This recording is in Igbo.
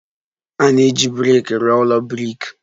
A na-eji brik rụọ ụlọ brik.